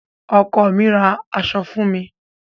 Ọkọ mi ra àṣọ fún mi.